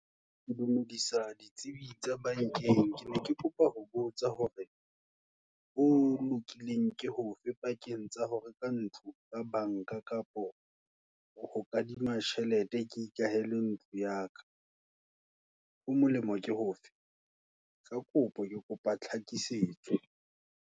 Ke dumedisa, ditsebi tsa bankeng, ne ke kopa ho botsa hore, ho lokileng ke hofe, pakeng tsa hore ka ntlo ka banka, kapa ho kadima tjhelete, ke ikahele ntlo yaka. Ho molemo ke hofe, Kakopo, kekopa tlhakisetso.